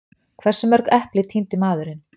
Hversu mörg epli tíndi maðurinn?